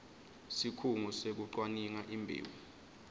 sikhungo sekucwaninga imbewu